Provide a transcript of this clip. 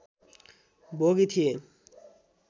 भोगी थिए